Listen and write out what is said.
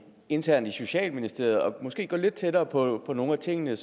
internt i socialministeriet om måske at gå lidt tættere på nogle af tingene